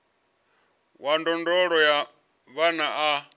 wa ndondolo ya vhana a